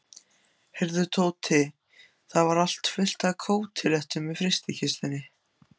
Heyrðu, Tóti, það er fullt af kótilettum í frystikistunni.